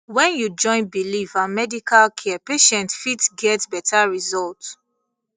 when you join belief and medical care patient fit get better result